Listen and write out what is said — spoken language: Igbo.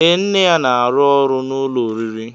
Ee nne ya n'arụ ọrụ n'ụlọ oriri.